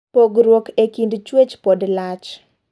Pogruok e kind chuech pod lach.